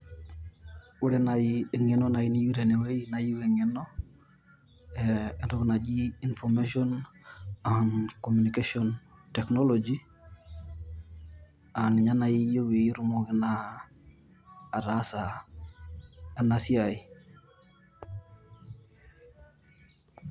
Ore naaji eng`eno niyieu tene wueji naa iyieu eng`eno ee entoki naji information communication technology aa ninye naaji iyieu pee itumoki naa ataasa ena siai.